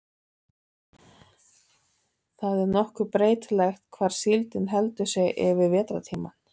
það er nokkuð breytilegt hvar síldin heldur sig yfir vetrartímann